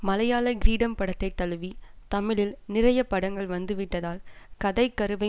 மலையாள கிரீடம் படத்தை தழுவி தமிழில் நிறைய படங்கள் வந்துவிட்டதால் கதை கருவை